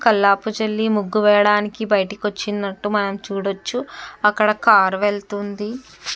కల్లాపి చల్లి ముగ్గు వేయడానికి బయటికి వచ్చినట్టు మనం చూడచ్చు. అక్కడ కార్ వెళ్తుంది.